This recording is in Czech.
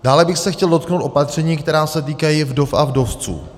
Dále bych se chtěl dotknout opatření, která se týkají vdov a vdovců.